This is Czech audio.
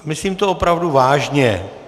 Myslím to opravdu vážně.